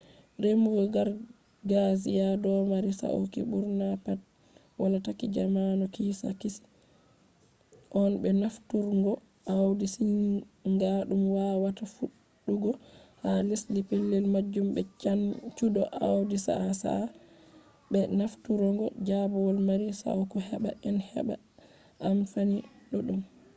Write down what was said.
remugo gargajiya domari sauki ɓurna pat wala taki jamanu kiisaki on be bo nafturungo awdi siginga dum wawata fuɗugo ha lesdi pellel majum be caanjuɗo awdi sa’a-sa'a be nafturungo jaaɓol mari sauki heɓɓa en heɓɓa amfani ɗuɗɗum